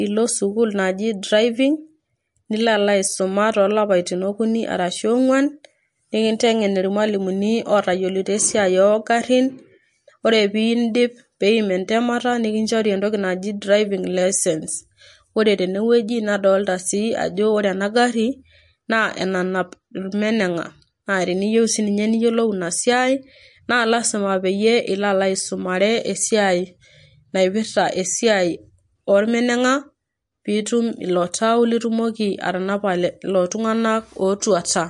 nilo sukuul naji drving ,nilo alo aisuma tolapaitin okuni arshu ongwan ,nikintengen irmwalimuni otoyiolito esiaai ongarin ,ore pindip piim entemata nikinchori entoki naji driving licence. Ore tene wueji nadolita sii ajo ore ena gari naa enanap irmenenga. Naa teniyieu sininye niyiolou ina siai naa lasima peyie ilo aisumare esiai naipirta esiai ormenenga ,pitum ilotau litumoki atanapa lelo tunganak otuata.